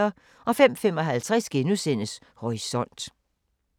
05:55: Horisont *